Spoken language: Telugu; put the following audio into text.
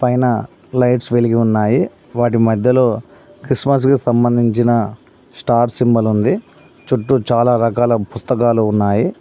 పైన లైట్స్ వెలిగి ఉన్నాయి వాటి మధ్యలో క్రిస్మస్ కి సంబంధించిన స్టార్ సింబల్ ఉంది చుట్టూ చాలా రకాల పుస్తకాలు ఉన్నాయి.